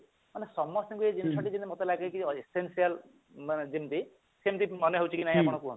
ଆମ ସମସ୍ତଙ୍କୁ ଏଇ ଜିନିଷ ଟି ମତେ ଲାଗେ କି essential ମାନେ ଯେମତି ସେମଟିମାନେ ହେଉଛି କି ନାଇଁ ଆପଣ କୁହନ୍ତୁ